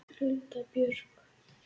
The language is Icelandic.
Hulda Björk.